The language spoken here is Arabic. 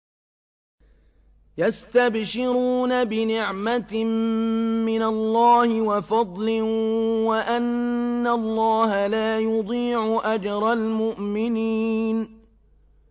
۞ يَسْتَبْشِرُونَ بِنِعْمَةٍ مِّنَ اللَّهِ وَفَضْلٍ وَأَنَّ اللَّهَ لَا يُضِيعُ أَجْرَ الْمُؤْمِنِينَ